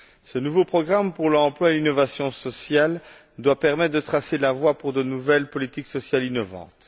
Ce nouveau programme pour l'emploi et l'innovation sociale doit permettre de tracer la voie pour de nouvelles politiques sociales innovantes.